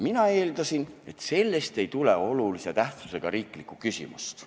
Mina eeldasin, et sellest ei tule olulise tähtsusega riiklikku küsimust.